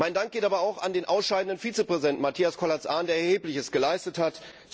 Mein Dank geht aber auch an den ausscheidenden Vizepräsidenten, Matthias Kollatz Ahnen, der Erhebliches geleistet hat.